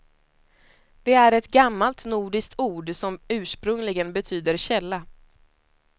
Det är ett gammalt, nordiskt ord som ursprungligen betyder källa.